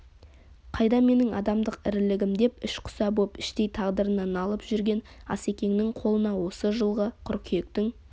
қайда менің адамдық ірілігім деп ішқұса боп іштей тағдырына налып жүрген асекеңнің қолына осы жылғы қыркүйектің